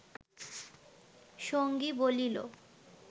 সঙ্গী বলিল